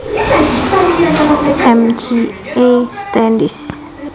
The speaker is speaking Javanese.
M J A Standish